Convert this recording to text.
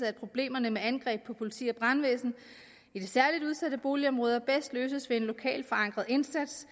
at problemerne med angreb på politi og brandvæsen i de særligt udsatte boligområder bedst løses ved en lokalt forankret indsats